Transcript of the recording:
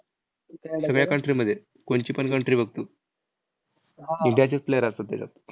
सगळ्या country मध्ये, कोणचीपण country बघ तू. इंडियाचेच player असतात त्याच्यात.